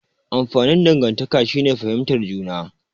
Amfanin dangantaka shine fihimtar juna.